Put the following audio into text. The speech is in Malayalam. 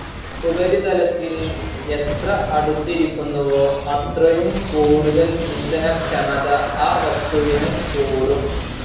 ഉപരിതലത്തിൻ എത്ര അടുത്തിരിക്കുന്നുവോ അത്രയും കൂടുതൽ ഇന്ധനക്ഷമത ആ വസ്തുവിനു കൂടും.